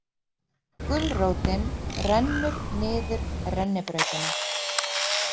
Gulrótin rennur niður rennibrautina